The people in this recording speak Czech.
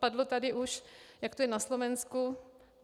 Padlo tady už, jak to je na Slovensku.